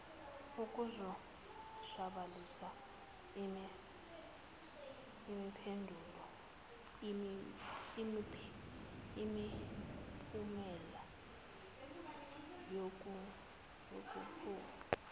ukuzoshabalalisa imiphumela yobuphofu